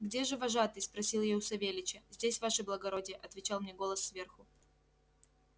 где же вожатый спросил я у савельича здесь ваше благородие отвечал мне голос сверху